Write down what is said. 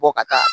Bɔ ka taa